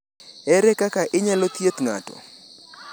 Ere kaka inyalo thiedh ng’ato?